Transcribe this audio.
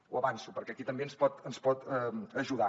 ho avanço perquè aquí també ens hi pot ajudar